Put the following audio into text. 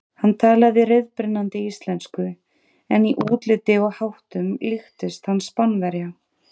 Hann talaði reiprennandi íslensku en í útliti og háttum líktist hann Spánverja.